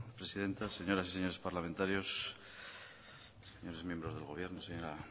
presidenta señoras y señores parlamentarios señores miembros del gobierno señora